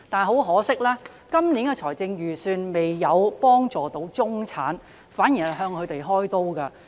很可惜，今年的預算案不但未有幫助中產階層人士，反而向他們開刀。